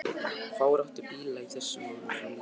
Fáir áttu bíla á þessum árum og því var lítil umferð.